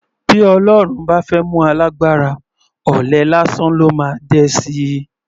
Bí Ọlọ́run bá fẹ́ mú alágbára, ọ̀lẹ lásán ló máa dẹ sí i.